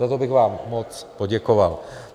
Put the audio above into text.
Za to bych vám moc poděkoval.